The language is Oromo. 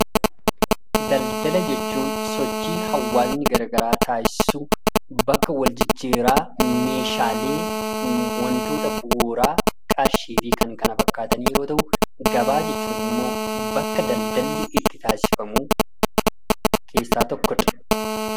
Daldala jechuun sochii hawwaasni gara garaa taasisu, bakka wal jijjiirraa meeshaalee, wantoota bu'uuraa, qarshii fi kan kana fakkaatan yeroo ta'u, gabaa jechuun immoo bakka daldalli itti taasifamu keessaa tokkodha.